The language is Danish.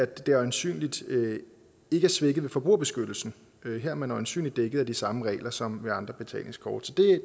det øjensynligt ikke svækker forbrugerbeskyttelsen her er man øjensynligt dækket af de samme regler som ved andre betalingskort